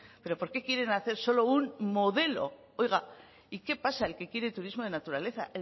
pero por qué quieren hacer solo un modelo oiga y qué pasa el que quiere turismo de naturaleza